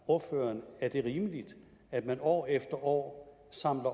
ordføreren at det er rimeligt at man år efter år samler